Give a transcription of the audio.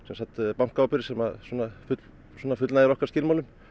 bankaábyrgð sem að fullnægir okkar skilmálum